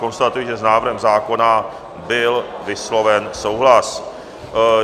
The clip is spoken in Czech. Konstatuji, že s návrhem zákona byl vysloven souhlas.